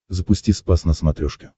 запусти спас на смотрешке